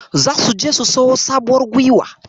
Zasu je su siyo sabuwar guiwa.